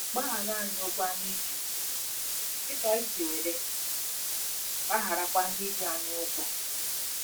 " Gbaghara anyị ụgwọ anyị ji, dị ka anyị si were gbagharakwa ndị ji anyị ụgwọ ."